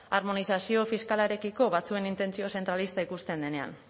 harmonizazio fiskalarekiko batzuen intentzio zentralista ikusten denean